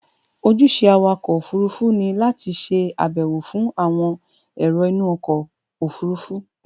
Ojúṣe Awakọ̀ òfurufú ni láti ṣe ààbò fún àwọn èrò inú ọkọ̀ òfurufú